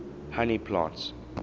honey plants